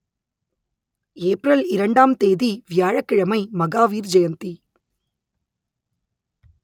April இரண்டாம் தேதி வியாழக் கிழமை மகாவீர் ஜெயந்தி